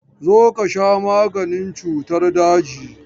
Zo ka sha maganin cutan daji!